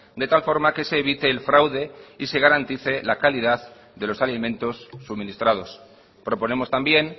de tal forma que se evite el fraude y se garantice la calidad de los alimentos suministrados proponemos también